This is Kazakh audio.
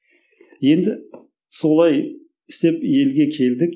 енді солай істеп елге келдік